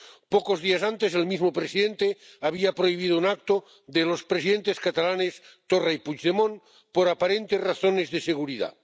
Pocos días antes, el mismo presidente había prohibido un acto de los presidentes catalanes Torra y Puigdemont por aparentes razones de seguridad.